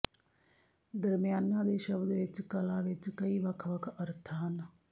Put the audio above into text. ਦਰਮਿਆਨਾ ਦੇ ਸ਼ਬਦ ਵਿੱਚ ਕਲਾ ਵਿੱਚ ਕਈ ਵੱਖ ਵੱਖ ਅਰਥ ਹਨ